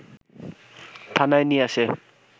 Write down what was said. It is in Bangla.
থানায় নিয়ে আসে